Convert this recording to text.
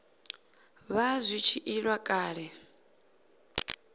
vha zwi tshi ila kale